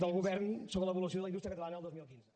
del govern sobre l’evolució de la indústria catalana el dos mil quinze